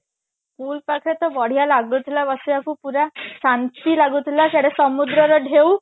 pool ପାଖରେ ତ ବଢିଆ ଲାଗୁଥିଲା ବସିବାକୁ ପୁରା ଶାନ୍ତି ଲାଗୁଥିଲା ସିଆଡେ ସମୁଦ୍ରର ଢେଉ